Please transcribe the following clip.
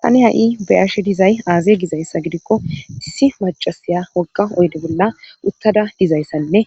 tani ha7i beyashe dizay aazey gizayssa gidikko issi macasiya wogga oyde bolla uttada dizayssanne